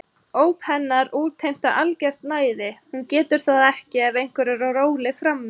Óp hennar útheimta algert næði, hún getur það ekki ef einhver er á róli frammi.